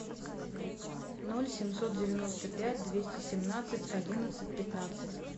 ноль семьсот девяносто пять двести семнадцать одиннадцать пятнадцать